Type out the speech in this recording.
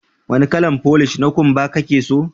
Wanni kalan folish na kumba kake so?